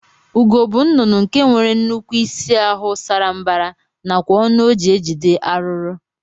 Ugo bu nnụnụ nke nwere nnukwu isi ahu sara mbara nakwa ọnụ oji ejide arụrụ